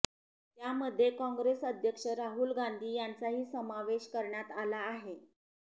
त्यामध्ये काँग्रेस अध्यक्ष राहुल गांधी यांचाही समावेश करण्यात आला आहे